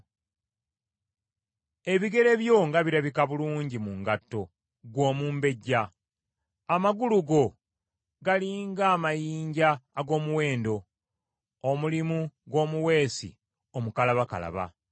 Ebigere byo nga birabika bulungi mu ngatto, ggwe omumbejja! Amagulu go gali ng’amayinja ag’omuwendo, omulimu gw’omuweesi omukalabakalaba.